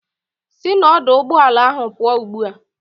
Sị n'ọdụụgbọala ahụ pụọ ugbu a!